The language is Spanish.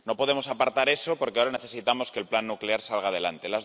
No podemos apartar eso porque ahora necesitamos que el plan nuclear salga adelante.